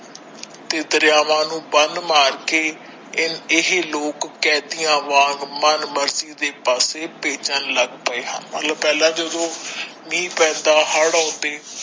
ਤੇ ਦਰਿਆਵਾ ਨੂੰ ਬੰਨ੍ਹ ਮਾਰ ਕੇ ਇਹ ਲੋਕ ਕੈਦੀਆਂ ਵਾਂਗ ਮਨ ਮਰਜੀ ਦੇ ਪਾਸੇ ਭੇਜਣ ਲੱਗ ਪਾਏ ਹਨ ਮਤਲਬ ਪਹਿਲਾ ਜਦੋ ਮੀਹ ਪੈਂਦਾ ਹੜ ਆਉਂਦੇ ।